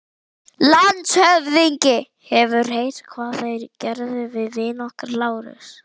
LANDSHÖFÐINGI: Hefurðu heyrt hvað þeir gerðu við vin okkar, Lárus?